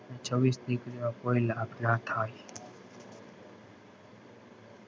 ને છવીસ દ્કરી ઓ લાભ કોઈ લાભ નાં થાય.